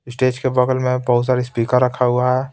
Stage के बगल में बहुत सारे स्पीकर रखा हुआ है.